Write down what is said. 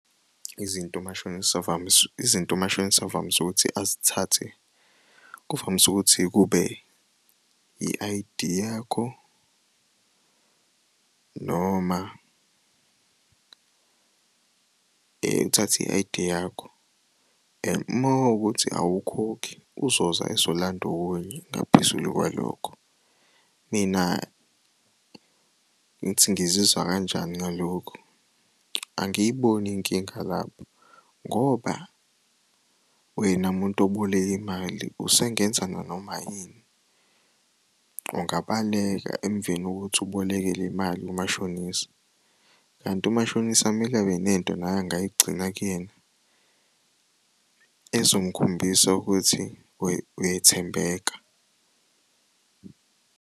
Izinto umashonisa . Izinto umashonisa avamise ukuthi azithathe kuvamise ukuthi kube i-I_D yakho noma uthatha i-I_D yakho and uma kuwukuthi awukhokhi uzoza ezolanda okunye okungaphezulu kwalokho. Mina ngithi ngizizwa kanjani ngalokhu? Angiyiboni inkinga lapho ngoba wena muntu oboleka imali usengenza nanoma yini. Ungabaleka emveni kokuthi uboleke le mali kumashonisa, kanti umashonisa kumele abe nento naye angayigcina kuyena ezomukhombisa ukuthi uyethembeka.